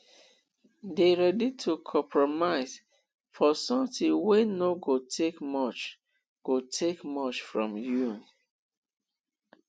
de ready to compromise for something wey no go take much go take much from you